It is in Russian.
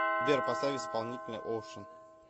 сбер поставь исполнителя оушен